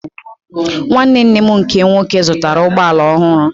Nwanne nne m nke nwoke zụtara ụgbọala ọhụrụ